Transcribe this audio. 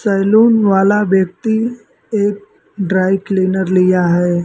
Salon वाला व्यक्ति एक ड्राई क्लीनर लिया है।